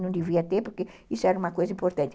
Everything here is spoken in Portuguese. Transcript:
Não devia ter, porque isso era uma coisa importante.